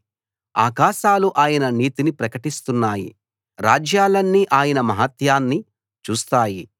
ఆకాశాలు ఆయన నీతిని ప్రకటిస్తున్నాయి రాజ్యాలన్నీ ఆయన మహాత్మ్యాన్ని చూస్తాయి